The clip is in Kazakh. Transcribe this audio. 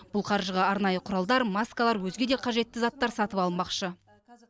бұл қаржыға арнайы құралдар маскалар өзге де қажетті заттар сатып алынбақшы